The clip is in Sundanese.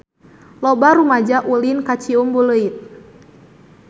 Loba rumaja ulin ka Ciumbuleuit